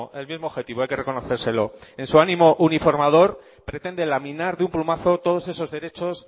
el mismo objetivo hay que reconocérselo en su ánimo uniformador pretende laminar de un plumazo todos esos derechos